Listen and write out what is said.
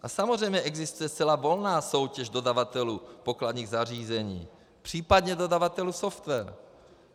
A samozřejmě existuje zcela volná soutěž dodavatelů pokladních zařízení, případně dodavatelů softwarů.